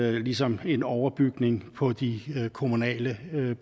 er ligesom en overbygning på de kommunale